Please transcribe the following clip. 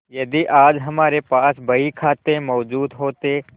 यदि आज हमारे पास बहीखाते मौजूद होते